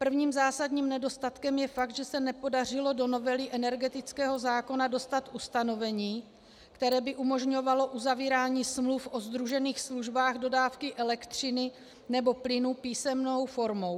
Prvním zásadním nedostatkem je fakt, že se nepodařilo do novely energetického zákona dostat ustanovení, které by umožňovalo uzavírání smluv o sdružených službách dodávky elektřiny nebo plynu písemnou formou.